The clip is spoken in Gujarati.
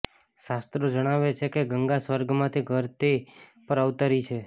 શાસ્ત્રો જણાવે છે કે ગંગા સ્વર્ગમાંથી ઘરતી પર અવતરી છે